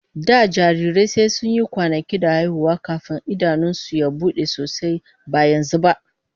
Da jarirai sai sun yi kwanaki da haihuwa kafin idanun su su bude sosai, ba yanzu ba.